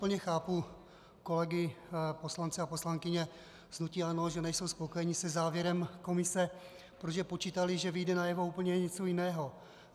Plně chápu kolegy poslance a poslankyně z hnutí ANO, že nejsou spokojeni se závěrem komise, protože počítali, že vyjde najevo úplně něco jiného.